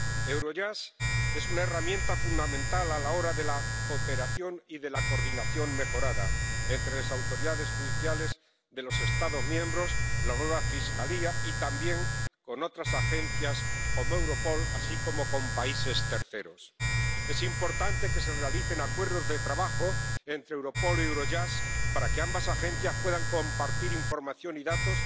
Eurojust es una herramienta fundamental a la hora de la cooperación y de la coordinación mejorada entre las autoridades judiciales de los Estados miembros, la nueva Fiscalía y también con otras agencias —como Europol—, así como con países terceros. Es importante que se realicen acuerdos de trabajo entre Europol y Eurojust para que ambas agencias puedan compartir información y datos,